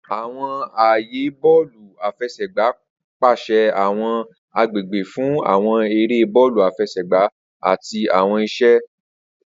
Awọn aaye bọọlu afẹsẹgba pese awọn agbegbe fun awọn ere bọọlu afẹsẹgba ati awọn iṣe.